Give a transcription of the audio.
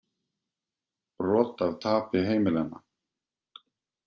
Brot af tapi heimilanna